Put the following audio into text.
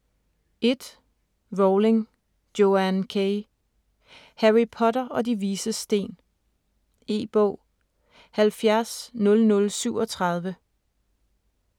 1. Rowling, Joanne K.: Harry Potter og De Vises Sten E-bog 700037